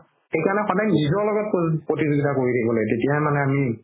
সেইকাৰণে সদায় নিজৰ লগত প্ৰতিযোগিতা কৰি থাকিব লাগে তেতিয়া হে মানে আমি